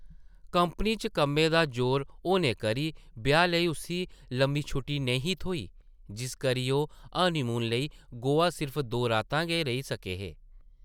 Company च कम्मै दा जोर होने करी ब्याह् लेई उस्सी लम्मी छुट्टी नेईं ही थ्होई, जिस करी ओह् हनीमून लेई गोआ सिर्फ दो रातां गै रेही सके हे ।